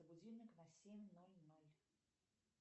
будильник на семь ноль ноль